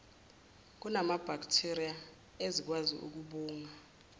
kunamabhakthiriya ezikwazi ukubanga